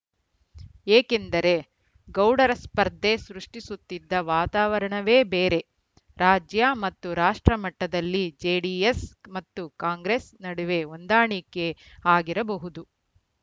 ಏಕೆಂದರೆ ಗೌಡರ ಸ್ಪರ್ಧೆ ಸೃಷ್ಟಿಸುತ್ತಿದ್ದ ವಾತಾವರಣವೇ ಬೇರೆ ರಾಜ್ಯ ಮತ್ತು ರಾಷ್ಟ್ರ ಮಟ್ಟದಲ್ಲಿ ಜೆಡಿಎಸ್‌ ಮತ್ತು ಕಾಂಗ್ರೆಸ್‌ ನಡುವೆ ಹೊಂದಾಣಿಕೆ ಆಗಿರಬಹುದು